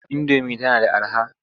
Indomi tana da araha.